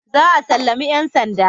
Za a sallami ‘yan sandan